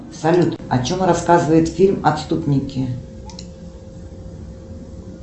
салют о чем рассказывает фильм отступники